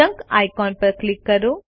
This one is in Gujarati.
જંક આઇકોન ઉપર ક્લિક કરો